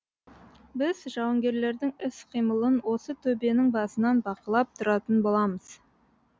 біз жауынгерлердің іс қимылын осы төбенің басынан бақылап тұратын боламыз